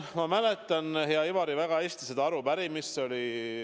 Ma mäletan, hea Ivari, väga hästi seda arupärimist.